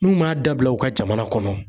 N'u m'a dabila u ka jamana kɔnɔ